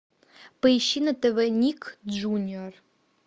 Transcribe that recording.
поищи на тв ник джуниор